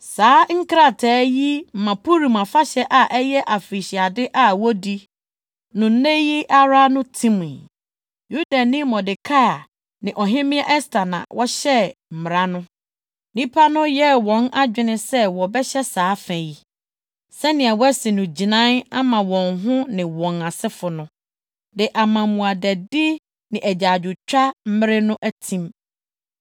Saa nkrataa yi ma Purim Afahyɛ a ɛyɛ afirihyiade a wodi no nnɛ yi ara no timii. Yudani Mordekai ne Ɔhemmea Ɛster na wɔhyɛɛ mmara no. (Nnipa no yɛɛ wɔn adwene sɛ wɔbɛhyɛ saa fa yi, sɛnea wɔasi no gyinae ama wɔn ho ne wɔn asefo no, de ama mmuadadi ne agyaadwotwa mmere no atim.)